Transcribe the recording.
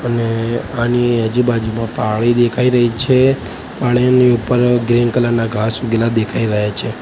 અને આની આજુબાજુમાં પાડી દેખાય રહી છે પાડીની ઉપર ગ્રીન કલર ના ઘાંસ ઉઘેલા દેખાય રહ્યા છે.